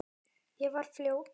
Ég var fljót.